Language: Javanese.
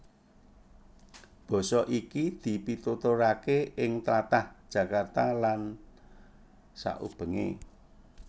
Basa iki dipituturaké ing tlatah Jakarta lan saubengé